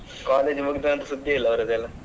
College ಮುಗಿದ ನಂತ್ರ ಸುದ್ದಿ ಇಲ್ಲ ಅವರದ್ದೆಲ್ಲ.